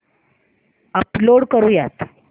upload करुयात